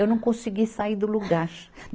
Eu não consegui sair do lugar.